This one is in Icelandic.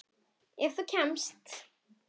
Ef þú kemst?